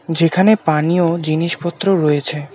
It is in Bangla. যেখানে পানীয় জিনিসপত্র রয়েছে।